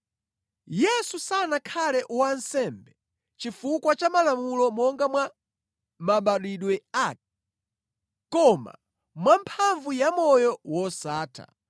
Yesu sanakhale wansembe chifukwa cha malamulo monga mwa mabadwidwe ake koma mwamphamvu ya moyo wosatha.